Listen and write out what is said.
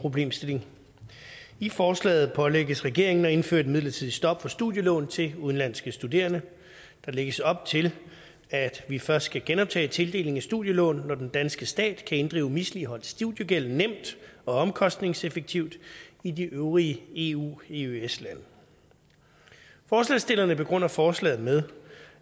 problemstilling i forslaget pålægges regeringen at indføre et midlertidigt stop for studielån til udenlandske studerende der lægges op til at vi først skal genoptage tildelingen af studielån når den danske stat kan inddrive misligholdt studiegæld nemt og omkostningseffektivt i de øvrige eu eøs lande forslagsstillerne begrunder forslaget med